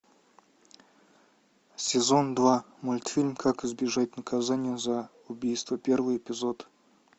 сезон два мультфильм как избежать наказания за убийство первый эпизод